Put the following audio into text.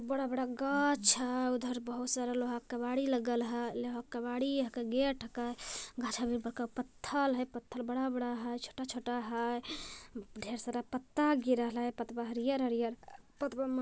बड़ा बड़ा गच्छ है उधर बहुत सारे लोहा के केबारी लगल हई लोहा के केबारी के गेट घाचा में बड़ा बड़ा पत्थल है पत्थर बड़ा बड़ा है छोटा छोटा है ढेर सारा पत्ता गिरल हई पतबा हरियर- हरियर पतवा में--